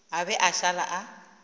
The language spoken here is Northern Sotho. a be a šale a